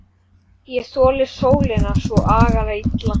Ég þoli sólina svo agalega illa.